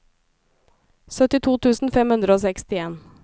syttito tusen fem hundre og sekstien